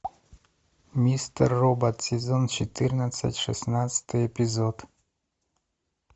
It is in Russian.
мистер робот сезон четырнадцать шестнадцатый эпизод